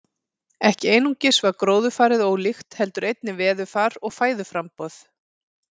Ekki einungis var gróðurfarið ólíkt heldur einnig veðurfar og fæðuframboð.